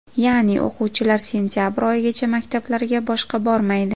Ya’ni, o‘quvchilar sentabr oyigacha maktablarga boshqa bormaydi.